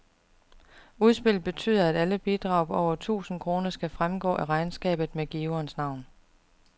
Udspillet betyder, at alle bidrag på over tusind kroner skal fremgå af regnskabet med giverens navn.